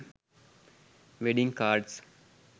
wedding cards